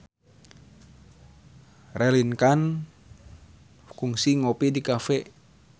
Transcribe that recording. Raline Shah kungsi ngopi di cafe